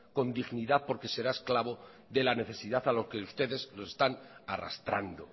con dignidad porque será esclavo de la necesidad a lo que ustedes lo están arrastrando